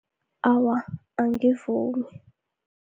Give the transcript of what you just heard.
Awa, angivumi.